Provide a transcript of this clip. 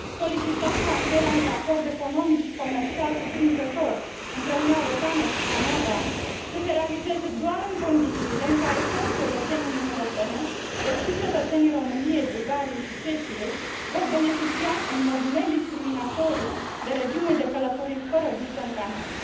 Solicităm ca încheierea unui acord economic și comercial cuprinzător între Uniunea Europeană și Canada să se realizeze doar în condițiile în care toți cetățenii Uniunii Europene, deci și cetățenii României, Bulgariei și Cehiei vor beneficia în mod nediscriminatoriu de regimul de călătorii fără viză în Canada.